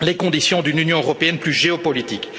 les conditions d'une Union européenne plus géopolitique.